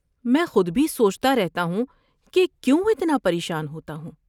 میں خود بھی سوچتا رہتا ہوں، کہ کیوں اتنا پریشان ہوتا ہوں۔